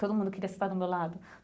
Todo mundo queria estar no meu lado.